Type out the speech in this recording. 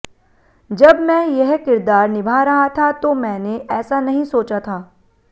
जब मैं यह किरदार निभा रहा था तो मैंने ऐसा नहीं सोचा था